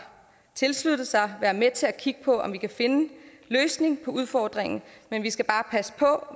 tilsluttet sig være med til at kigge på om vi kan finde en løsning på udfordringen men vi skal bare passe på